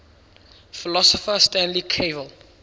philosopher stanley cavell